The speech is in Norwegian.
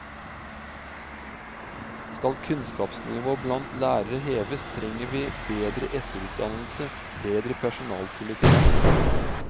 Skal kunnskapsnivået blant lærere heves, trenger vi bedre etterutdannelse, bedre personalpolitikk.